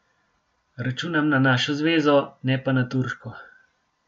Računam na našo zvezo, ne pa na turško.